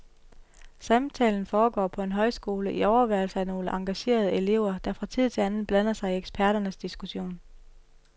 Samtalen foregår på en højskole i overværelse af nogle engagerede elever, der fra tid til anden blander sig i eksperternes diskussion.